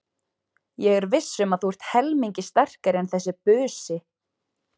Ég er viss um að þú ert helmingi sterkari en þessi busi.